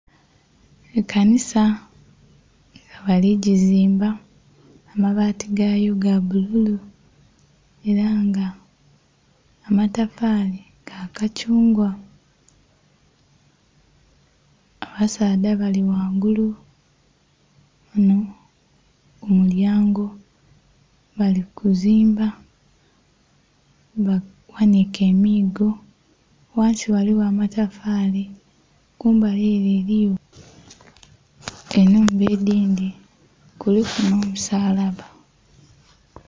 Ekanisa nga bali gizimba, amabaati gayo ga bululu ela nga amatafaali ga kakyungwa. Abasaadha bali ghangulu ghano ku mu lyango bali kuzimba, baghaniike emiigo. Ghansi ghaligho amatafaali. Kumbali ele eliyo ennhumba edhindhi. Kuliku nh'omusalaba.